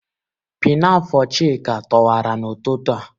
Pinafo Chika toọwara n'ututu a.